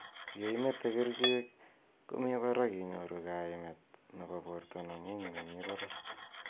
Ye imete kercheek �komii barak inyoru kaimet �nebo borta neng'ung ne mii barak.